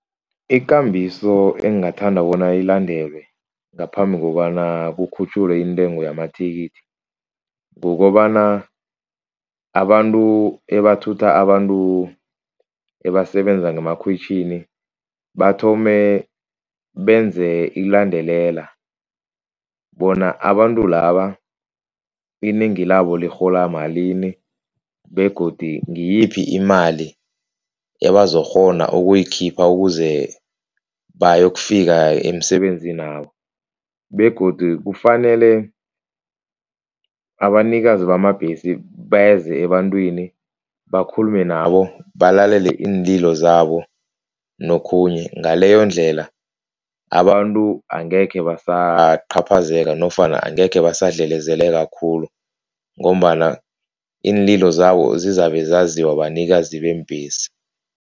Ikambiso engingathanda bona ilandelwe ngaphambi kobana kukhutjhulwe intengo yamathikithi. Kukobana abantu abathutha abantu abasebenza ngemakhwitjhini, bathome benze ilandelela bona abantu laba inengi labo lirhola malini, begodi ngiyiphi imali abazokukghona ukuyikhipha ukuze bayokufika emisebenzini yabo begodu kufanele, abanikazi bamabhesi beze ebantwini bakhulume nabo, balalele iinlilo zabo nokhunye. Ngaleyondlela abantu angekhe basaqhaphazeka nofana angekhe basadlelezeleka khulu ngombana iinlilo zabo zizabe zaziwa banikazi beembhesi.